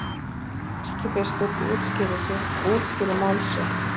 Erkibiskup útskýrir mál sitt